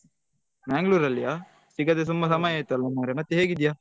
Mangalore ಅಲ್ಲಿಯ ಸಿಗದೇ ಸುಮಾರ್ ಸಮಯ ಆಯ್ತ್ ಅಲ್ಲಾ ಮಾರಾಯ ಹೇಗಿದ್ಯಾ?